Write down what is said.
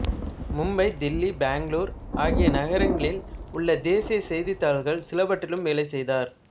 மும்பை தில்லி பெங்களூரு ஆகிய நகரங்களில் உள்ள தேசிய செய்தித்தாள்கள் சிலவற்றிலும் வேலை செய்தார்